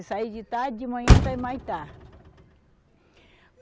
Se sair de tarde, de manhã está em Humaitá.